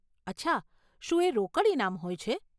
અચ્છા, શું એ રોકડ ઇનામ હોય છે?